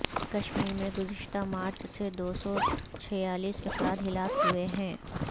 کشمیر میں گزشتہ مارچ سے دو سو چھیالیس افراد ہلاک ہوئے ہیں